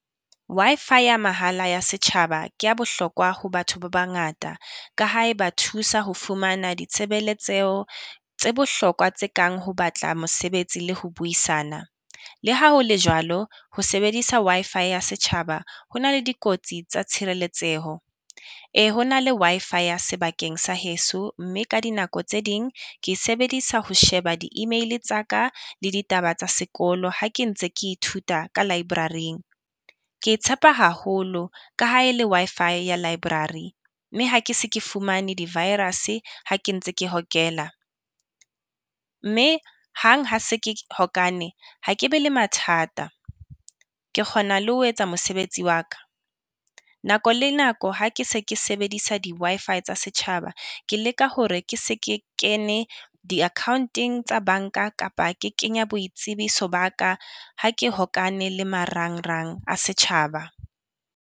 Wi_Fi ya mahala ya setjhaba ke ya bohlokwa ho batho ba bangata, ka ha e ba thusa ho fumana ditshebeletseho tse bohlokwa tse kang ho batla mosebetsi le ho buisana. Le ha ho le jwalo, ho sebedisa Wi_Fi ya setjhaba ho na le dikotsi tsa tshireletseho. Ee ho na le Wi_Fi ya sebakeng sa heso mme ka dinako tse ding ke e sebedisa ho sheba di email tsa ka la ditaba tsa sekolo ha ke ntse ke ithuta ka library-ing. Ke evtshepa haholo ka ha e le Wi_Fi ya library, mme ha ke se ke fumane di-virus-e ha ke ntse ke hokela. Mme hang ha se ke hokane ha ke be le mathata, ke kgona le ho etsa mosebetsi wa ka. nako Le nako ha ke se ke sebedisa di-Wi_Fi tsa setjhaba ke leka hore ke se ke kene di-account-eng tsa banka, kapa ke kenya boitsebiso ba ka ha ke hokane le marang-rang a setjhaba.